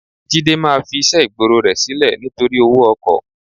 Jídé máa fiṣẹ́ ìgboro rẹ sílẹ̀ nítorí owó ọkọ̀.